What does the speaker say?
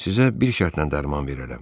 sizə bir şərtlə dərman verərəm.